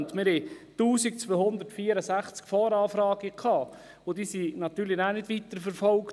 Es gab 1264 Voranfragen, und diese wurden dann nicht weiterverfolgt.